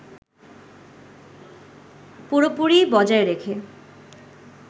পুরোপুরি বজায় রেখে